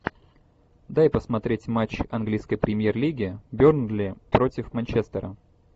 дай посмотреть матч английской премьер лиги бернли против манчестера